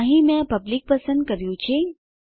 અહીં મેં પબ્લિક પસંદ કર્યું છે